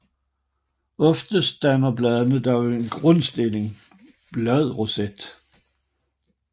Oftest danner bladene dog en grundstillet bladroset